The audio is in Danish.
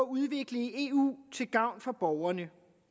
udvikle i eu til gavn for borgerne